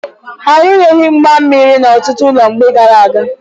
Arụnyeghi mgba mmiri n'ọtụtụ ụlọ mgbe gaara aga.